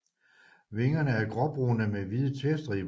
Vingerne er gråbrune med hvide tværstriber